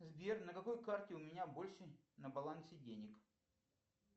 сбер на какой карте у меня больше на балансе денег